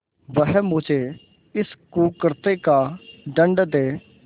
वह मुझे इस कुकृत्य का दंड दे